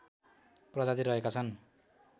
प्रजाति रहेका छन्